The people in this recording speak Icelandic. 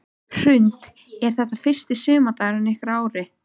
Hrund: Er þetta fyrsti sumardagurinn ykkar í ár?